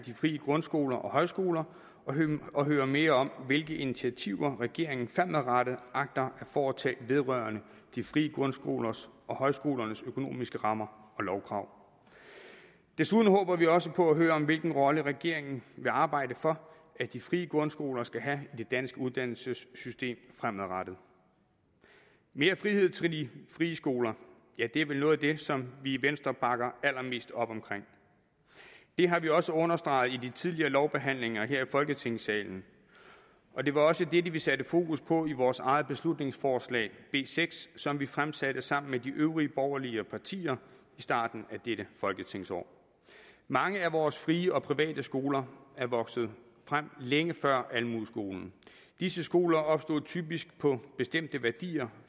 de frie grundskoler og højskoler og hører mere om hvilke initiativer regeringen fremadrettet agter at foretage vedrørende de frie grundskolers og højskolernes økonomiske rammer og lovkrav desuden håber vi også på at høre om hvilken rolle regeringen vil arbejde for at de frie grundskoler skal have i det danske uddannelsessystem fremadrettet mere frihed til de frie skoler er vel noget af det som vi i venstre bakker allermest op om det har vi også understreget i de tidligere lovbehandlinger her i folketingssalen og det var også dette vi satte fokus på i vores eget beslutningsforslag b seks som vi fremsatte sammen med de øvrige borgerlige partier i starten af dette folketingsår mange af vores frie og private skoler er vokset frem længe før almueskolen disse skoler opstod typisk på bestemte værdier